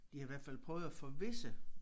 De havde i hvert fald prøvet at forvisse